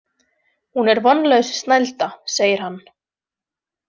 Hún er vonlaus snælda, segir hann.